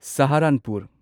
Saharanpur